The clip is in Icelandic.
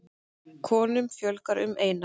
Konum fjölgar um eina.